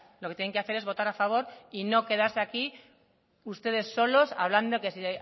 lo que tienen que hacer es votar a favor y no quedarse aquí ustedes solos hablando de que si